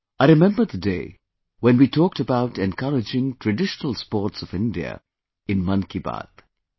I remember the day when we talked about encouraging traditional sports of India in 'Mann Ki Baat'